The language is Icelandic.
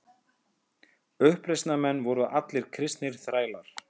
Uppreisnarmenn voru allir kristnir þrælar.